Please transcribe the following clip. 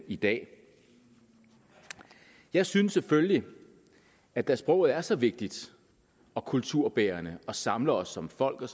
i dag jeg synes selvfølgelig at da sproget er så vigtigt og kulturbærende og samler os som folk og